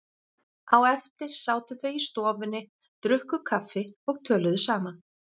Á eftir sátu þau í stofunni, drukku kaffi og töluðu saman.